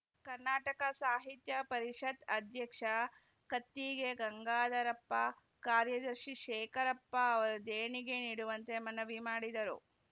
ಕನ್ನಡ ಸಾಹಿತ್ಯ ಪರಿಷತ್ ಅಧ್ಯಕ್ಷ ಕತ್ತಿಗೆ ಗಂಗಾಧರಪ್ಪ ಕಾರ್ಯದರ್ಶಿ ಶೇಖರಪ್ಪ ಅವರು ದೇಣಿಗೆ ನೀಡುವಂತೆ ಮನವಿ ಮಾಡಿದರು